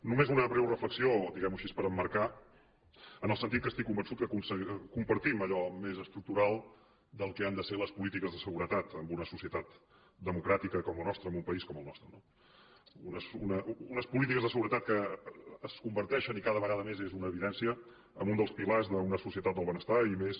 només una breu reflexió diguem ho així per emmarcar en el sentit que estic convençut que compartim allò més estructural del que han de ser les polítiques de seguretat en una societat democràtica com la nostra en un país com el nostre no unes polítiques de seguretat que es converteixen i cada vegada més és una evidència en un dels pilars d’una societat del benestar i més